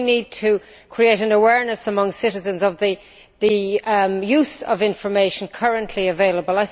We need to create awareness among citizens about the use of the information currently available.